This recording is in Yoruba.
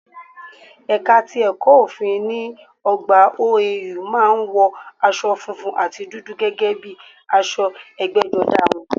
Ẹ̀ka ti ẹ̀kọ̀ òfin ní ọgbà OAU má a ń wọ asọ funfun àti dúdú gẹ́gẹ́ bíi aṣọ ẹgbẹ́jọdá wọn